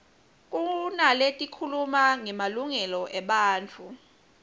kunaletikhuluma ngemalungelo ebantfu